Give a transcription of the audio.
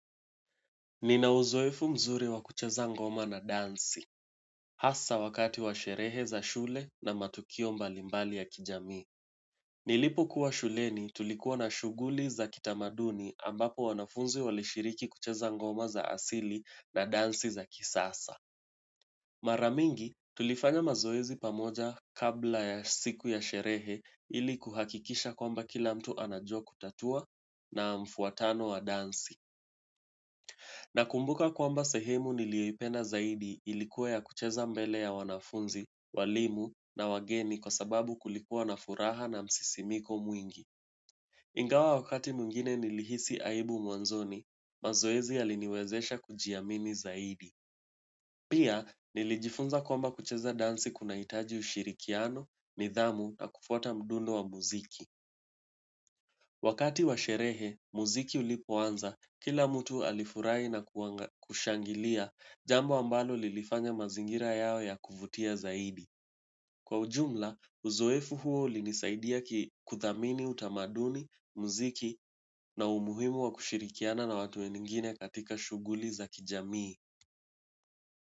Nina uzoefu mzuri wa kucheza ngoma na dansi, hasa wakati wa sherehe za shule na matukio mbalimbali ya kijamii. Nilipokuwa shuleni tulikuwa na shughuli za kitamaduni ambapo wanafunzi walishiriki kucheza ngoma za asili na dansi za kisasa. Mara mingi tulifanya mazoezi pamoja kabla ya siku ya sherehe ili kuhakikisha kwamba kila mtu anajua kutatua na mfuatano wa dansi. Nakumbuka kwamba sehemu niliyoipenda zaidi ilikuwa ya kucheza mbele ya wanafunzi, walimu na wageni kwa sababu kulikuwa na furaha na msisimiko mwingi. Ingawa wakati mwingine nilihisi aibu mwanzoni, mazoezi aliniwezesha kujiamini zaidi. Pia nilijifunza kwamba kucheza dansi kunahitaji ushirikiano, nidhamu na kufuata mdundo wa muziki. Wakati wa sherehe, muziki ulipoanza, kila mtu alifurahi na kushangilia jambo ambalo lilifanya mazingira yawe ya kuvutia zaidi. Kwa ujumla uzoefu huo ulinisaidia kudhamini utamaduni, muziki na umuhimu wa kishirikiana na watu wengine katika shughuli za kijamii.